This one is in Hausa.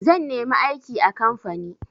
Zan nemi aiki a kamfani.